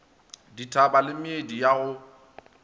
dithaba le meedi ya go